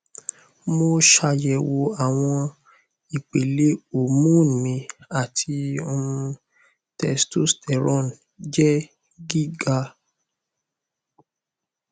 mo ṣayẹwo awọn ipele hormone mi ati um testosterone jẹ giga